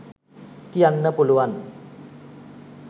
කියන්න පුළුවන්.